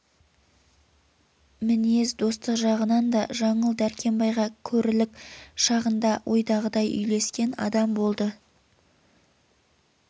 мінез достық жағынан да жаңыл дәркембайға көрілік шағында ойдағыдай үйлескен адам болды